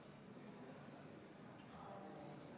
Kas need võib rahulikult ohverdada ja öelda, et see on väga hea eelnõu?